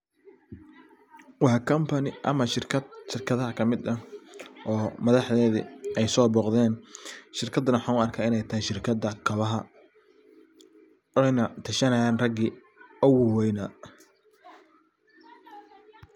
Waa company ama shirkad shirkadaha kamid ah ,oo madaxdedi ay so boqden, shirkadana waxan u arka ini shirkada kabaha oyna tashanayan ragi ugu waweyna.